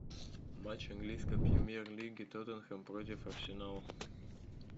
матч английской премьер лиги тоттенхэм против арсенала